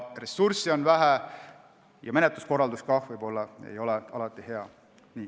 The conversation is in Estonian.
Ressursse on vähe ja menetluskorraldus ei ole ka võib-olla alati hea.